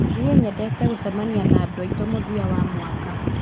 Nĩ nyendete gũcemania na andũ aitũ mũthia wa mwaka